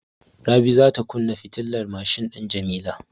Rabi za ta kunna fitilar mashin din Jamila.